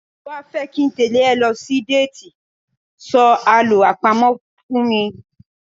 Tí o bá fẹ́ kí n tẹ́lẹ̀ ẹ lọ sí déètì, sọ Àlọ́ àpamọ̀ fún mi.